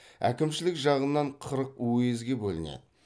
әкімшілік жағынан қырық уезге бөлінеді